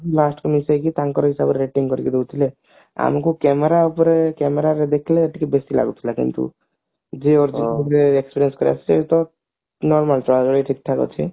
last କୁ ମିଶେଇକି ତାଙ୍କରି ହିସାବରେ rating କରିକିରି ଦେଉଥିଲେ ଆମକୁ camera ଉପରେ camera ରେ ଦେଖିଲେ ଟିକେ ବେଶୀ ଲାଗୁଥିଲା କିନ୍ତୁ ନାଇଁ ନାଇଁ ଏବେ ଠିକ ଠାକ ଅଛି